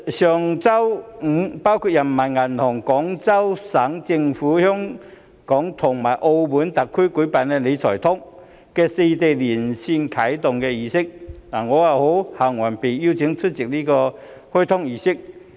上周五包括人民銀行、廣東省政府、香港及澳門特區舉辦"理財通"的四地連線啟動儀式，我很榮幸獲邀出席這個開通儀式。